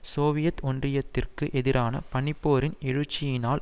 Soviet ஒன்றியத்திற்கு எதிரான பனிப்போரின் எழுச்சியினால்